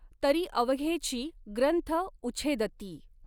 तरी अवघेचि ग्रंथ उछेदती।